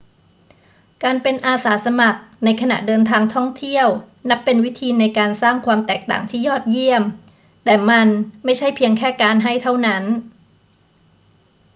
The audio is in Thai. การเป็นอาสาสมัครในขณะเดินทางท่องเที่ยวนับเป็นวิธีในการสร้างความแตกต่างที่ยอดเยี่ยม แต่มันไม่ใช่เพียงแค่การให้เท่านั้น